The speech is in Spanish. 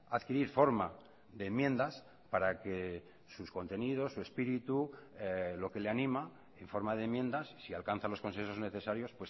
adquirir forma de enmiendas para que sus contenidos su espíritu lo que le anima en forma de enmiendas si alcanza los consensos necesarios